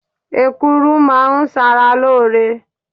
Èkuru máa ń sára lóore.